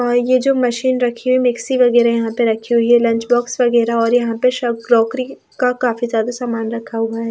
हां ये जो मशीन रखी हुई मिक्सी वगैरह यहां पे रखी हुई है लंच बॉक्स वगैरह और यहां पे सब क्रॉकरी का काफी ज्यादा सामान रखा हुआ है।